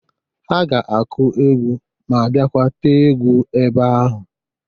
Ha ga-akụ egwu ma bịakwa tee egwu ebe ahu.